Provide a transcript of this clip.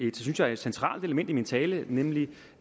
et synes jeg centralt element i min tale nemlig